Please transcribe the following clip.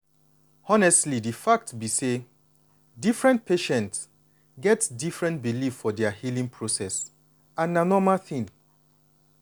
honestly di fact be say different patient get different belief for dia healing process and na normal thing.